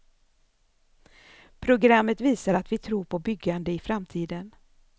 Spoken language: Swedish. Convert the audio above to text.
Programmet visar att vi tror på byggande i framtiden.